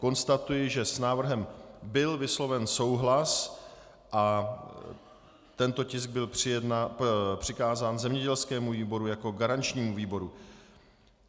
Konstatuji, že s návrhem byl vysloven souhlas a tento tisk byl přikázán zemědělskému výboru jako garančnímu výboru.